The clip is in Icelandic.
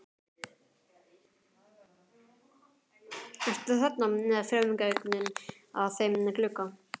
Eru þarna frumgögnin að þeim glugga.